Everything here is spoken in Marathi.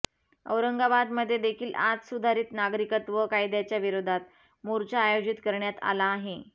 औरंगाबाद मध्ये देखील आज सुधारित नागरिकत्व कायद्याच्या विरोधात मोर्चा आयोजित करण्यात आला आहे